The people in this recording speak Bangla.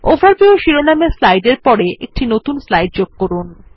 ওভারভিউ শিরোনামের স্লাইড এর পরে একটি নতুন স্লাইড যোগ করুন